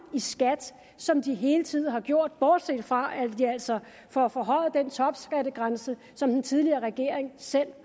i skat som de hele tiden har gjort bortset fra at vi altså får forhøjet topskattegrænsen som den tidligere regering selv